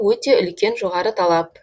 өте үлкен жоғары талап